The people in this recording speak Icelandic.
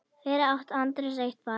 Fyrir átti Andreas eitt barn.